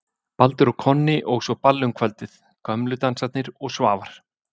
Baldur og Konni og svo ball um kvöldið: Gömlu Dansarnir og Svavar